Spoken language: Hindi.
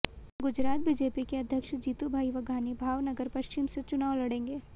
गुजरात बीजेपी के अध्यक्ष जीतूभाई वघानी भावनगर पश्चिम से चुनाव लडेंगे